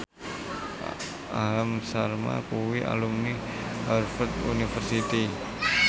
Aham Sharma kuwi alumni Harvard university